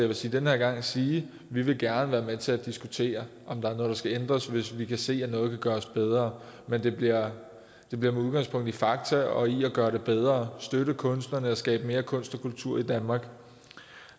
vil sige den her gang sige vi vil gerne være med til at diskutere om der er noget der skal ændres hvis vi kan se at noget kan gøres bedre men det bliver med udgangspunkt i fakta og i at gøre det bedre at støtte kunstnerne og skabe mere kunst og kultur i danmark